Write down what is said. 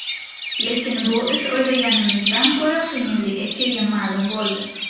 Lekin bu ish o‘ylaganimizdan ko‘ra qiyinligi keyin ma’lum bo‘ldi.